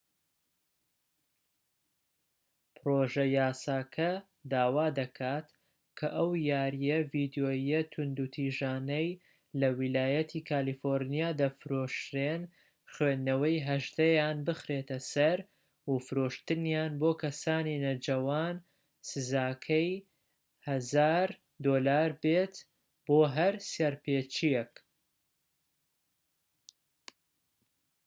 پرۆژە یاساکە داوا دەکات کە ئەو یاریە ڤیدیۆییە توندوتیژانەی لە ویلایەتی کالیفۆرنیا دەفرۆشرێن خوێندنەوەی 18"یان بخرێتە سەر و فرۆشتنیان بۆ کەسانی نەجەوان سزاکەی 1000 دۆلار بێت بۆ هەر سەرپێچیەک